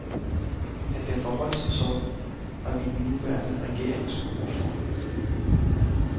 At det forholdt sig sådan, har vi den nuværende regerings ord for.